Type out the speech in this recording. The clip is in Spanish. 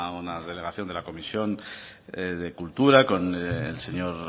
una delegación de la comisión de cultura con el señor